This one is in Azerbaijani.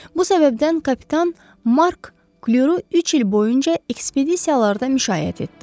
Bu səbəbdən kapitan Mark Kleru üç il boyunca ekspedisiyalarda müşayiət etdi.